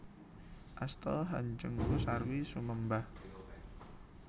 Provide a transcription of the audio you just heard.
Asta hanjengku sarwi sumembah